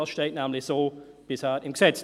Das steht nämlich bisher so im Gesetz.